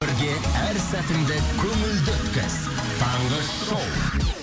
бірге әр сәтіңді көңілді өткіз таңғы шоу